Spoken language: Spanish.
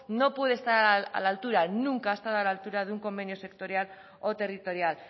no puede estar a la altura nunca de un convenio sectorial o territorial